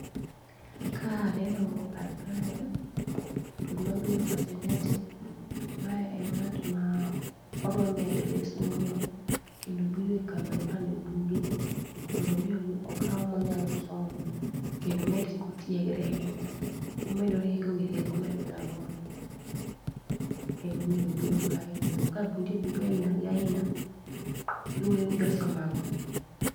Ka aneno kar kae, to gima bire pacha en ni ati, mae en ng'at ma odwa medore somo. Kendo obiro e kama ikane buge, mondo mi okaw monyalo somo. Kendo omed kotiegre ahinya, omedo rieko ewi rieko ma enga godo, emomiyo obiro kae. Kendo ka nitie buge aina ga aina, luwore nidwa somo ang'o.